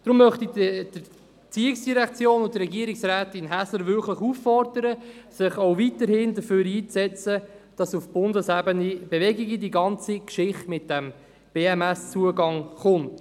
Deshalb möchte ich die ERZ und Regierungsrätin Häsler auffordern, sich weiterhin dafür einzusetzen, dass auf Bundesebene Bewegung in die Geschichte um diesen BMSZugang kommt.